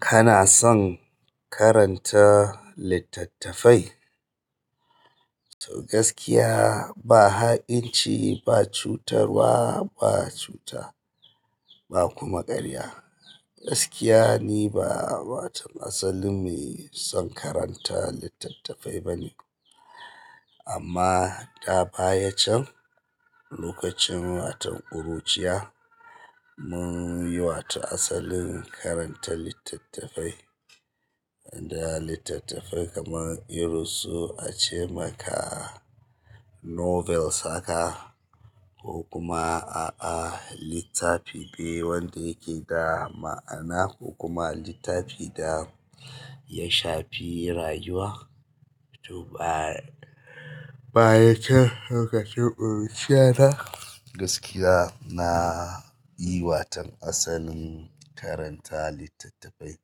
Kana son karanta littattafai? To gaskiya ba ha'inci, ba cutarwa, ba cuta ba kuma ƙarya. Gaskiya ni ba waton asalin mai son karanta littattafai ba ne. Amma da baya can lokacin waton ƙuruciya mun yi wato asalin karanta littattafai. Da littattafai kaman irin su ace maka novels haka ko kuma a'a littafi ne wanda yake da ma'ana ko kuma littafi da ya shafi rayuwa. To baya can lokacin ƙuruciya na gaskiya na yi waton asalin karanta littattafai.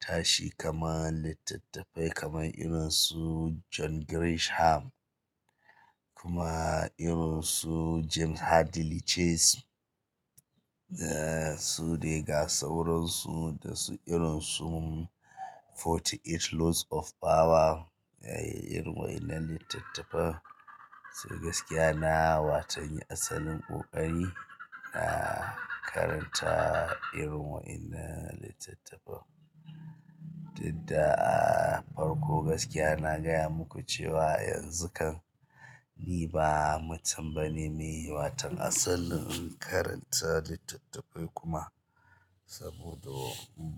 Tashi kama littattafai kaman irin su John Grisham kuma irin su James Hadley Chase. Su dai ga sauran su da su irin su Forty Eight Laws of power. Irin wa'innan littattafan. To gaskiya na yi waton asalin ƙoƙari na karanta irin wa'innan littattafan. Duk da a farko gaskiya na gaya muku cewa yanzu kam ni ba mutum bane mai waton asalin karanta littattafai kuma. Saboda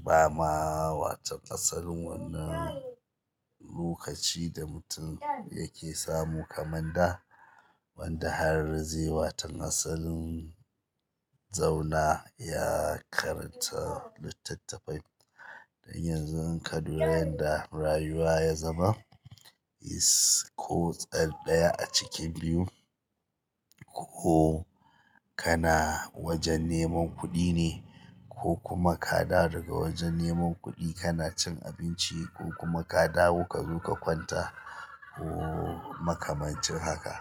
ba ma waton asalin wannan lokaci da mutum yake samu kamar da wanda har zai yi waton asalin zauna ya karanta littattafai. Dan yanzu in ka duba yadda rayuwa ya zama, is. Kutsin ɗaya a cikin biyu, ko kana wajen neman kuɗi ne ko kuma ka dawo daga wajen neman kana cin abinci ko kuma ka dawo kazo ka kwanta. Ko makamancin haka.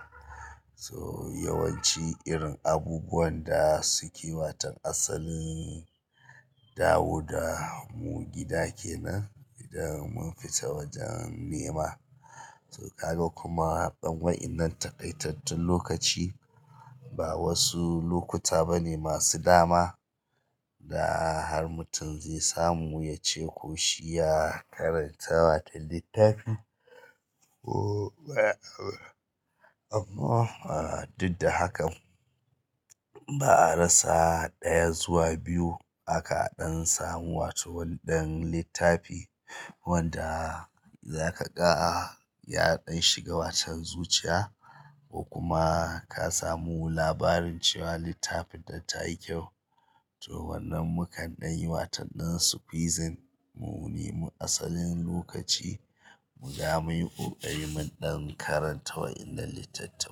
So yawanci irin abubuwan da suke waton asalin dawo da mu gida kenan idan mun fita wajen nema. To kaga kuma ɗan wa'innan takaitattun lokaci ba wasu lokuta bane masu dama da har mutum zai samu ya ce ko shi ya karanta wata littafi ko. Amma a duk da hakan ba a rasa ɗaya zuwa biyu haka a ɗan samu wato wani ɗan littafi wanda za ka ga ya ɗan shiga waton zuciya. Ko kuma ka samu labarin cewa littafin da tayi kyau. To wannan mukan ɗan yi waton ɗan squeezing mu nemi asalin lokaci mu ga mun yi ƙoƙarin mu ɗan karanta wa'innan littattafan.